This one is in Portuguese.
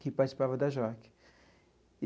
que participava da JOC.